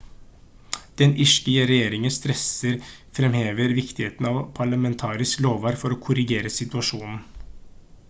den irske regjeringen stresser fremhever viktigheten av parlamentarisk lovverk for å korrigere situasjonen